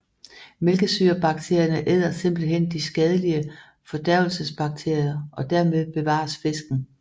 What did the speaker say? Mælkesyrebakterierne æder simpelthen de skadelige fordærvelsesbakterier og dermed bevares fisken